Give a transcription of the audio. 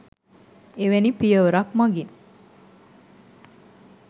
එවැනි පියවරක් මගින්